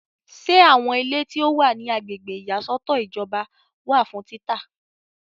Ṣe àwọn ilé tí o wa ní Agbègbè ìyàsọ́tọ̀ ìjọba wà fún títà?